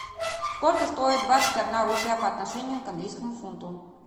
сколько стоит двадцать одна рупия по отношению к английскому фунту